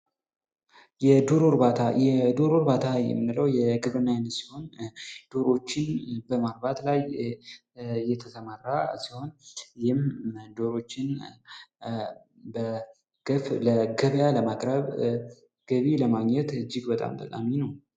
የዶሮ እርባታ የዶሮ እርባታ የምንለው የግብርና ዓይነት ሲሆን ዶሮዎችን በማርባት ላይ የተሰማራ ሲሆን ይህም ዶሮዎችን በግፍ ለገበያ ለማቅረብ ገቢ ለማግኘት እጅግ በጣም ጠቃሚ ነው።